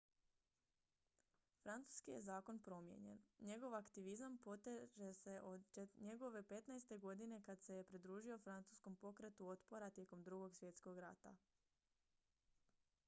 francuski je zakon promijenjen njegov aktivizam proteže se od njegove 15. godine kada se je pridružio francuskom pokretu otpora tijekom ii svjetskog rata